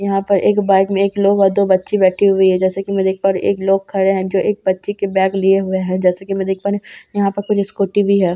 यहाँ पर एक बाइक में एक लोग और दो बच्ची बैठी हुई है जैसे कि मैं देख पा रही हूं एक लोग खड़े है जो एक बच्ची की बैग लिए हुई है जैसा कि मैं देख पा रही हूँ यहां पर कुछ स्कूटी भी है।